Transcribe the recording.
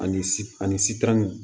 Ani si ani sitan